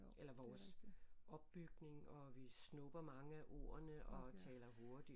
Eller vores opbygning og vi snupper mange af ordene og taler hurtigt